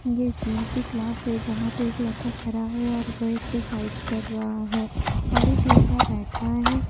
ये जिम की क्लास है जहाँ पे एक लड़का खड़ा है और वह एक्सरसाइज कर रहा हैऔर एक लड़का बैठा है।